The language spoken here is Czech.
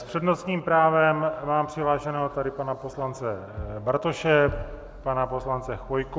S přednostním právem mám přihlášeného tady pana poslance Bartoše, pana poslance Chvojku.